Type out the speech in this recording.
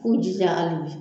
Ku jija hali bi.